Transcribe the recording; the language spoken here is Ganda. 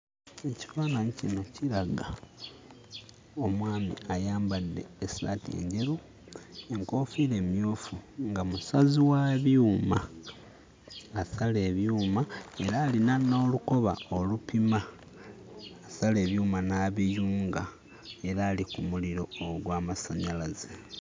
Ekifaananyi kino kiraga omwami ayambadde essaati enjeru, enkoofiira emmyufu nga musazi wa byuma. Asala ebyuma era alina n'olukoba olupima, asala ebyuma n'abiyunga era ali ku muliro ogw'amasannyalaze.